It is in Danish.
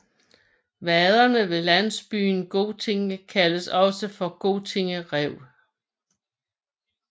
Vaderne ved landsbyen Goting kaldes også for Goting Rev